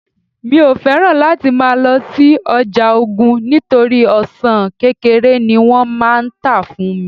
mi o fẹràn láti ma lo si oja ogun nitori ọsàn kékeré ni wón má n ta fún mi